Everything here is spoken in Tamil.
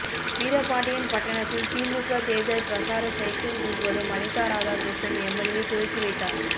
வீரபாண்டியன்பட்டணத்தில் திமுக தேர்தல் பிரசார சைக்கிள் ஊர்வலம் அனிதாராதாகிருஷ்ணன் எம்எல்ஏ துவக்கி வைத்தார்